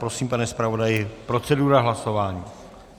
Prosím, pane zpravodaji, procedura hlasování.